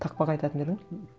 тақпақ айтатын ба едің